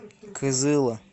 кызыла